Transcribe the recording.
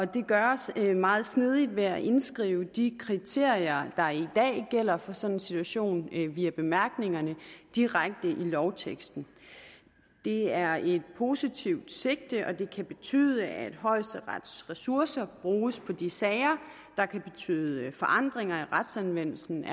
det gøres meget snedigt ved at indskrive de kriterier der i dag gælder for sådan en situation via bemærkningerne direkte i lovteksten det er et positivt sigte og det kan betyde at højesterets ressourcer bruges på de sager der kan betyde forandringer i retsanvendelsen